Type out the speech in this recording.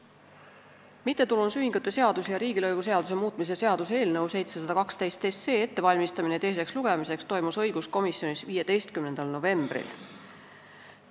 Äriseadustiku, mittetulundusühingute seaduse ja riigilõivuseaduse muutmise seaduse eelnõu 712 ettevalmistamine teiseks lugemiseks toimus õiguskomisjonis 15. novembril.